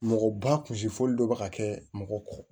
Mɔgɔ ba kunsi fɔli dɔ bɛ ka kɛ mɔgɔ kɔ